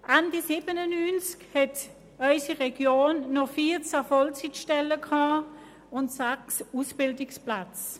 Ende 1997 hatte unsere Region noch 14 Vollzeitstellen und sechs Ausbildungsplätze.